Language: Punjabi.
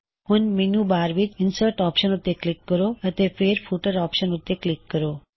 ਹੁਣ ਮੈੱਨੂ ਬਾਰ ਵਿੱਚ ਇਨਸਰਟ ਆਪਸ਼ਨ ਉੱਤੇ ਕਲਿੱਕ ਕਰੋ ਅਤੇ ਫੇਰ ਫੁਟਰ ਆਪਸ਼ਨ ਉੱਤੇ ਕਲਿੱਕ ਕਰੋ